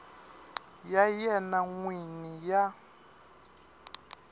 ya yena n wini ya